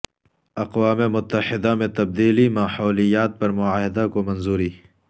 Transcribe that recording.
اقوام متحدہ میں تبدیلی ماحولیات پر معاہدہ کو منظوری